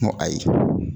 N ko ayi